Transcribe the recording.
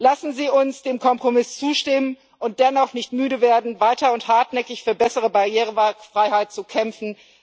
Lassen Sie uns dem Kompromiss zustimmen und dennoch nicht müde werden, weiter und hartnäckig für bessere Barrierefreiheit zu kämpfen.